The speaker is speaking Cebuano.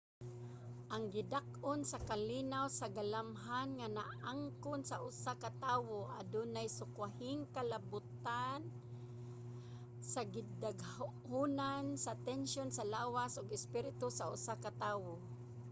ang gidak-on sa kalinaw sa galamhan nga naangkon sa usa ka tawo adunay sukwahing kalabotan sa gidaghanon sa tensiyon sa lawas ug espiritu sa usa ka tawo